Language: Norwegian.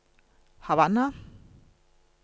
Havanna